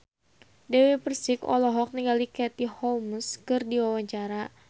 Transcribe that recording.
Dewi Persik olohok ningali Katie Holmes keur diwawancara